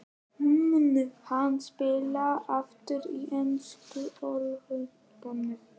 Mun hann spila aftur í ensku úrvalsdeildinni?